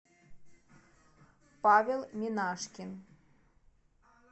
павел минашкин